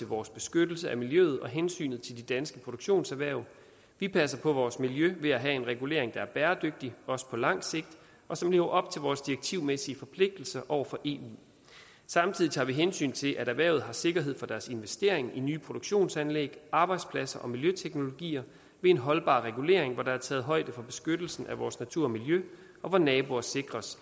vores beskyttelse af miljøet og hensynet til de danske produktionserhverv vi passer på vores miljø ved at have en regulering der er bæredygtig også på lang sigt og som lever op til vores direktivmæssige forpligtelser over for eu samtidig tager vi hensyn til at erhvervet har sikkerhed for deres investeringer i nye produktionsanlæg arbejdspladser og miljøteknologier ved en holdbar regulering hvor der er taget højde for beskyttelsen af vores natur og miljø og hvor naboer sikres